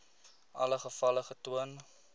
alle gevalle getoon